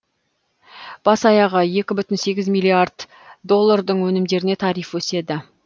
бас аяғы екі бүін сегіз миллиард доллардың өнімдеріне тариф өседі